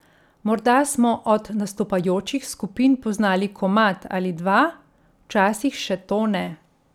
Morda smo od nastopajočih skupin poznali komad ali dva, včasih še to ne.